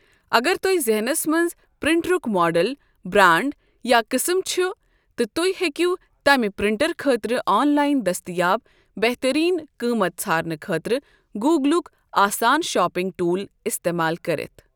اگر تۄہہِ ذِہٮ۪نَس منٛز پرنٹرُک ماڈل برانڈ یا قٕسم چھُ تہٕ تُہۍ ہیکِو تَمہِ پرنٹر خٲطرٕ آن لائن دٔستِیاب بہترین قۭمَت ژھارنہٕ خٲطرٕ گوگلُک آسان شاپنگ ٹول استعمال کٔرِتھ۔